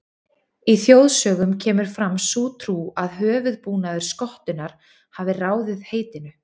Í þjóðsögum kemur fram sú trú að höfuðbúnaður skottunnar hafi ráðið heitinu.